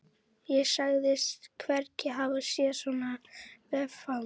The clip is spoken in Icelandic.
Ég sagðist hvergi hafa séð svona vefnað.